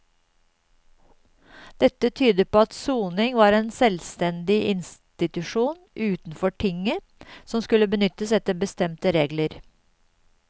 Dette tyder på at soning var en selvstendig institusjon utenfor tinget som skulle benyttes etter bestemte regler.